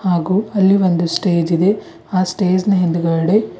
ಹಾಗು ಅಲ್ಲಿ ಒಂದು ಸ್ಟೇಜ್ ಇದೆ ಆ ಸ್ಟೇಜ್ ನ ಹಿಂದಗಡೆ--